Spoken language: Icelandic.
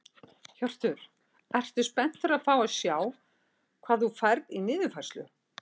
Hjörtur: Ertu spenntur að fá að sjá hvað þú færð í niðurfærslu?